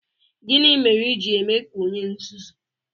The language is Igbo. Gini mere i ji eme ka onye nzuzu?